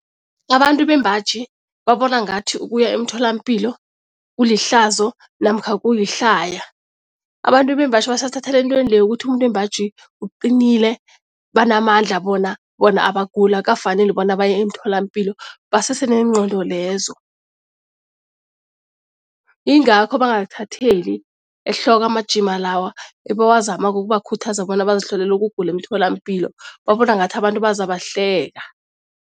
Abantu bembaji babona ngathi ukuya emtholampilo kulihlazo namkha kuyihlaya. Abantu bembaji basathathela entweni leya ukuthi umuntu wembaji uqinile, banamandla bona, bona abaguli, akukafaneli bona baye emtholampilo, basese neengqondo lezo. Ingakho bangakuthatheli ehloko amajima lawa ebawazamako ukubakhuthaza bona bazihlolele ukugula emtholampilo, babona ngathi abantu bazabahleka.